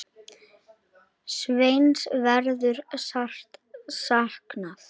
Sveins verður sárt saknað.